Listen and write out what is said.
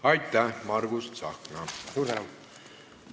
Aitäh, Margus Tsahkna!